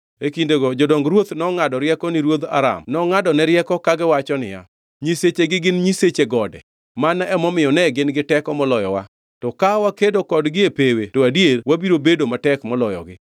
E kindego jodong ruoth nongʼado rieko ni ruodh Aram nongʼadone rieko kagiwachone niya, “nyisechegi gin nyiseche gode, mano emomiyo ne gin gi teko moloyowa; to ka wakedo kodgi e pewe to adier wabiro bedo matek maloyogi.